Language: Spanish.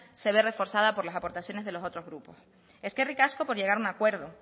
se ve reforzada por las aportaciones de los otros grupos eskerrik asko por llegar a un acuerdo